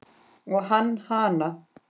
Og hann hana.